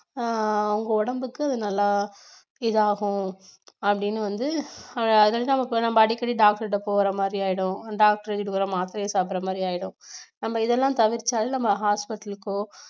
அஹ் உங்க உடம்புக்கு நல்லா இதாகும் அப்படின்னு வந்து இப்ப நம்ம அடிக்கடி doctor கிட்ட போற மாதிரி ஆயிடும் doctor மாத்திரையை சாப்பிடற மாதிரி ஆயிடும் நம்ம இதெல்லாம் தவிர்த்தாலே நம்ம hospital க்கோ